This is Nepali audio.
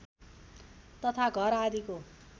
तथा घर आदिको